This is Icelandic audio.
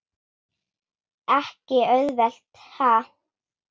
Ekki auðvelt ha?